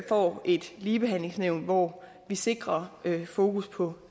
får et ligebehandlingsnævn hvor vi sikrer fokus på